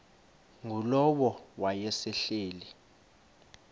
ngulowo wayesel ehleli